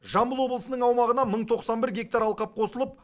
жамбыл облысының аумағына мың тоқсан бір гектар алқап қосылып